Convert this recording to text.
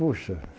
Puxa.